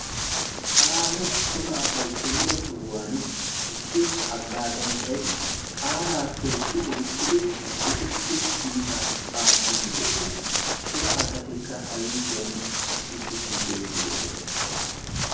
aaho cora asai kumire sohuwan issi haggaazanchchay qaalaa tookki oyqqidi etussi kiita aattiidi de'ees cora asatikka a yuushuwan issippe shiiqi uttidosona